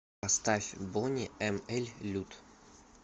поставь бони эм эль лют